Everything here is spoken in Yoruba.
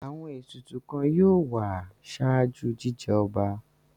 Àwọn ètùtù kan yóò wà ṣáájú jíjẹ ọba.